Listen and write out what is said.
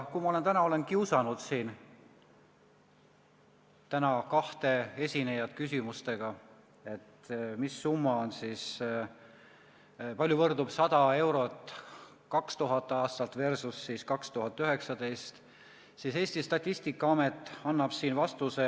Kui ma täna olen siin kiusanud kahte esinejat küsimustega, kui suur on 100 euro ostujõud, kui võrrelda 2000. aasta versus 2019. aasta, siis Eesti Statistikaamet annab vastuse.